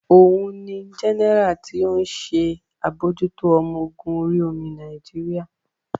Ohun ni Jẹ́nẹ́rà tí ó ń ṣe àbójútó ọmọ ogun orí omi Nàìjíríà